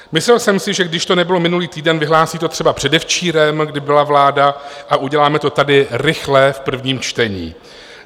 Myslel jsem si, že když to nebylo minulý týden, vyhlásí to třeba předevčírem, kdy byla vláda, a uděláme to tady rychle v prvním čtení.